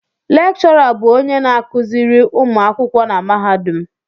Lékchọrà bụ onye na-akụziri ụmụ akwụkwọ na mahadum